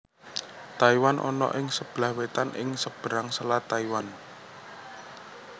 Taiwan ana ing sebelah wetan ing seberang Selat Taiwan